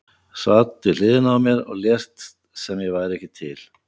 Sast við hliðina á mér og lést sem ég væri ekki til.